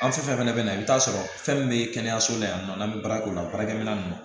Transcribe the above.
An fɛn fɛn fana bɛ na i bɛ taa sɔrɔ fɛn min bɛ kɛnɛyaso la yan nɔ n'an bɛ baara kɛ o la baarakɛminɛn ninnu